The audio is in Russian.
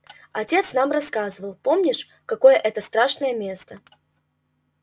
отец нам рассказывал помнишь какое это страшное место